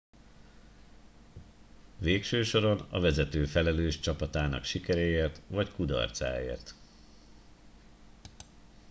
végső soron a vezető felelős csapatának sikeréért vagy kudarcáért